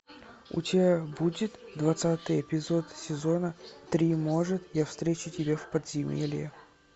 у тебя будет двадцатый эпизод сезона три может я встречу тебя в подземелье